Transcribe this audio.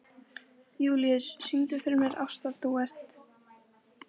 Júlíus, syngdu fyrir mig „Ástardúett“.